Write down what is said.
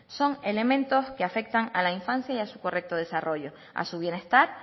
son elementos que afectan a la infancia y a su correcto desarrollo a su bienestar